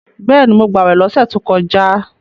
Bẹ́ẹ̀ni, mo gbàwè lọ́sẹ̀ tó kọjá